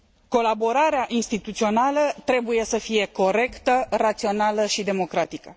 Colaborarea instituțională trebuie să fie corectă, rațională și democratică.